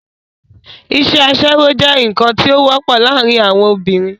isẹ́ asẹ́wó jẹ́ ǹkan tí ó wọ́pọ̀ láàrin àwon obìnrin